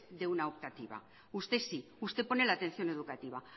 de una optativa usted sí usted pone la atención educativa